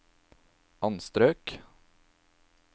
anstrøk